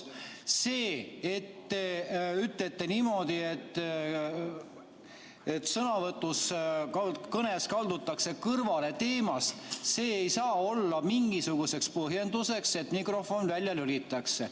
See, et te ütlete niimoodi, et sõnavõtus või kõnes kaldutakse teemast kõrvale, ei saa olla mingisuguseks põhjenduseks, et mikrofon välja lülitada.